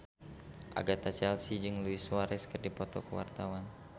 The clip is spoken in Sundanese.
Agatha Chelsea jeung Luis Suarez keur dipoto ku wartawan